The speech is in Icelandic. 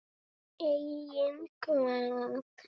Enginn kvað þó rímu.